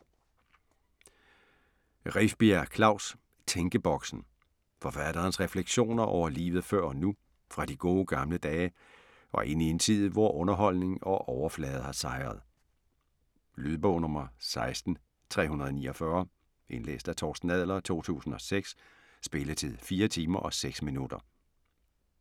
Rifbjerg, Klaus: Tænkeboksen Forfatterens refleksioner over livet før og nu, fra de gode gamle dage og ind i en tid, hvor underholdning og overflade har sejret. Lydbog 16349 Indlæst af Torsten Adler, 2006. Spilletid: 4 timer, 6 minutter.